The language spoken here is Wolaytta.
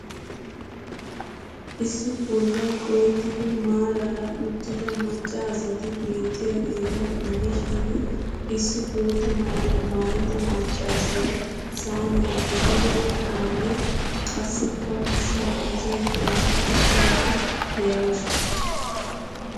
Issi bollay qohettido maarara uttida macca asati beettiyageeta gidishin issi botta maayuwaa maayida maccassiya saaniyan ehiido qumanne qassikka ushshaa mizzayddanne ushshaydda de'awusu.